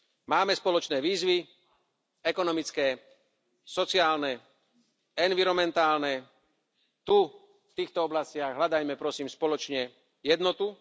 Máme spoločné výzvy ekonomické, sociálne, environmentálne, tu v týchto oblastiach hľadajme, prosím, spoločne jednotu.